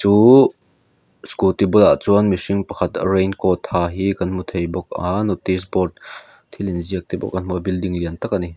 uu scooty bulah chuan mihring pakhat rain coat ha hi kan hmu theih bawk a notice board thil inziak te pawh kan hmu a building lian tak a ni.